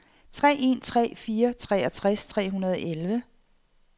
tre en tre fire treogtres tre hundrede og elleve